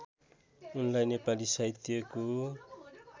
उनलाई नेपाली साहित्यको